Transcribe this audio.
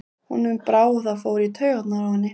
Honum brá, og það fór í taugarnar á henni.